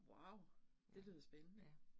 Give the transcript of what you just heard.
Wow, det lyder spændende